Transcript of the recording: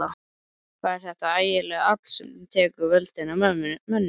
Hvað er þetta ægilega afl sem tekur völdin af mönnum?